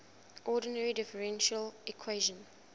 ordinary differential equation